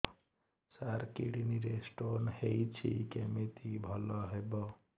ସାର kidney ରେ stone ହେଇଛି କମିତି ଭଲ ହେବ